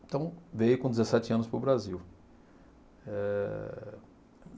Então, veio com dezessete anos para o Brasil. Eh